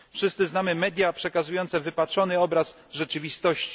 Wszyscy znamy media przekazujące wypaczony obraz rzeczywistości.